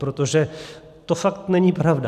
Protože to fakt není pravda.